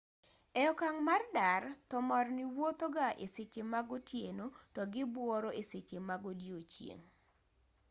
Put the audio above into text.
e okang' mar dar thomorni wuothoga e seche mag otieno to gibuoro e seche mag odiechieng'